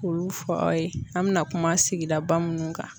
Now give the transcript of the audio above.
K'olu fɔ aw ye an bɛna kuma sigida minnu kan.